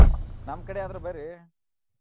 ನಮ್ಮ್ ಕಡೆ ಆದ್ರ ಬರ್ರಿ.